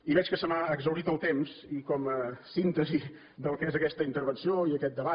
i veig que se m’ha exhaurit el temps i com a síntesi del que és aquesta intervenció i aquest debat